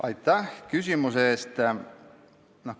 Aitäh küsimuse eest!